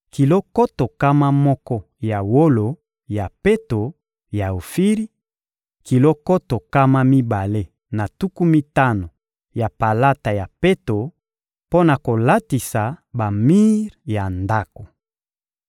kilo nkoto nkama moko ya wolo ya peto ya Ofiri, kilo nkoto nkama mibale na tuku mitano ya palata ya peto mpo na kolatisa bamir ya Ndako.